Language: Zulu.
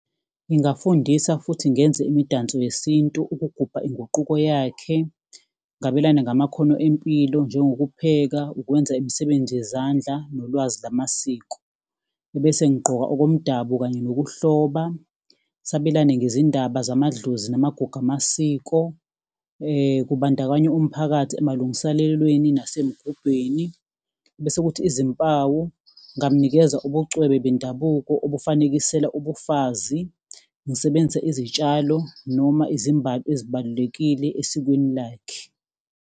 Ngingafundisa futhi ngenze imidanso yesintu ukugubha inguquko yakhe, ngabelane ngamakhono empilo, njengokupheka, ukwenza imisebenzi yezandla, nolwazi lamasiko, ebese ngigqoka okomdabu kanye nokuhloba, sabelane ngezindaba zamadlozi namagugu amasiko, kubandakanya umphakathi, emalungiselelweni nasemgubheni. Bese kuthi izimpawu, ngingamnikeza ubucwebe bendabuko ukufanekisela ubufazi. Ngisebenzise izitshalo noma izimbali ezibalulekile esikweni lakhe.